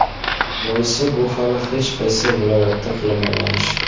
Boisi bu hali hech qaysi viloyatda qilinmagan ish.